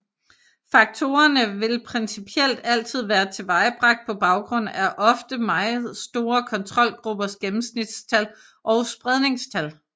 Faktorerne vil principielt altid være tilvejebragt på baggrund af ofte meget store kontrolgruppers gennemsnitstal og spredningstal